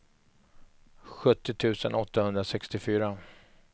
sjuttio tusen åttahundrasextiofyra